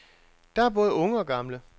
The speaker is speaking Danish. Der er både unge og gamle.